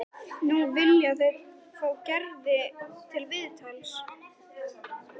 Nú vilja þeir fá Gerði til viðtals.